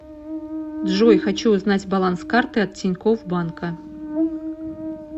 джой хочу узнать баланс карты от тинькофф банка